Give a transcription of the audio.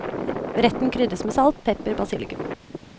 Retten krydres med salt, pepper, basilikum.